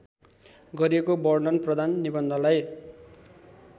गरिएको वर्णनप्रधान निबन्धलाई